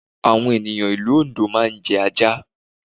Àwọn ènìyàn ìlú Oǹdó máa jẹ ajá